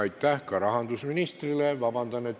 Aitäh ka rahandusministrile!